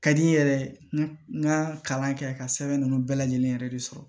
Ka di n ye yɛrɛ n ka kalan kɛ ka sɛbɛn ninnu bɛɛ lajɛlen yɛrɛ de sɔrɔ